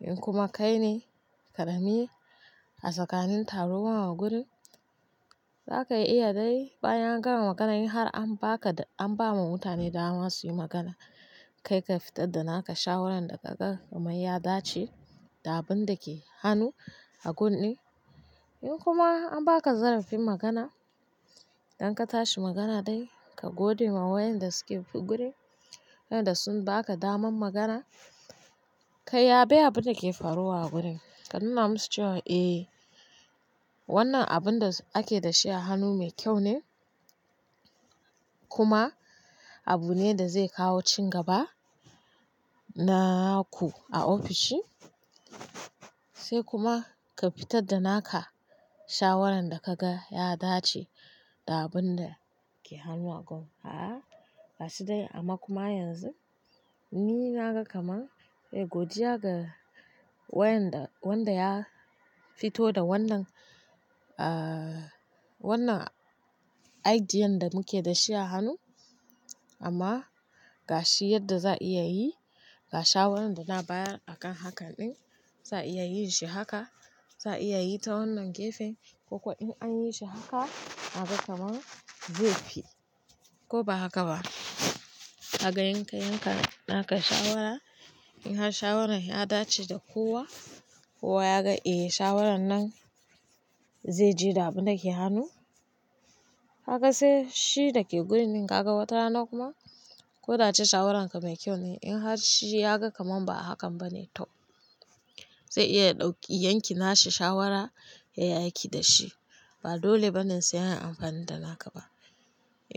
In kuma kai ne ƙarami a tsakanin taruwa a gurin, za ka iya dai bayan angama magana in har an ba ka, an ba ma mutane dama su yi magana, kai ka fitar da naka shawaran da ka ga kamn ya dace da abun da ke hannu a gun ɗin. In kuma an ba ka zarafin magana, idan ka tashi magana dai, ka gode ma wayanda suke gurin, wayanda sun ba ka daman magana. Kai yaɓe abin da ke faruwa a gurin, ka nuna musu cewa eh, wannan abun da ake da shi a hannu mai kyau ne kuma abu ne da zai kawo cin gaba naku a ofishin. Sai kuma ka fitar da naka shawaran da kaga ya dace da abun da ke hannu a gun. A'a, gashi dai amma kuma yanzu ni naga kamar eh godiya ga wayanda wanda ya fito da wannan, wannan aidiya da muke da shi a hannu amma ga shi yadda za a iya yi, ga shawaran da na bayar a kan hakan ɗin, za a iya yin shi haka, za a iya yi ta wannan gefen ko kuwa in an yi shi haka a ga kamar zai fi ko ba haka ba. Kaga in kai haka naka shawara, in har shawaran ya dace da kowa, kowa ya ga eh shawaran nan zai je da abin da ke hannu. Kaga sai shi da ke gurin din ka ga wata rana kuma ko dace shawararka mai kyau ne in har shi ya ga kamar ba a hakan ba ne, to zai iya ɗauki yanki nashi shawara yai aiki da shi. Ba dole ba ne sai a yi amfani da naka ba.